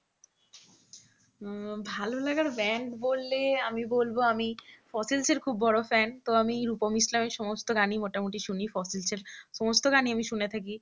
ভালোলাগার band বললে আমি বলব আমি ফসিল্সিলস এর খুব বড় fan তো আমি রুপম ইসলামের সমস্ত গানই মোটামুটি শুনি ফসসিলস এর সমস্ত গানই আমি শুনে থাকি